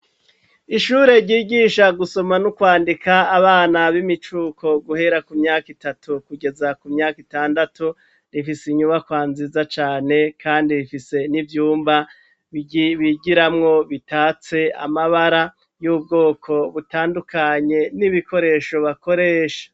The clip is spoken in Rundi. Ishure ryigisha gusoma no kwandika abana b'imicuko guhera ku myaka itatu kugeza ku myaka itandatu rifise inyubakwa nziza cane kandi rifise n'ivyumba bigiramwo bisize amabara y'ubwoko butandukanye n'ibikoresho bakoresha.